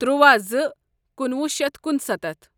ترواہ زٕ کُنوُہ شیتھ کُنسَتتھ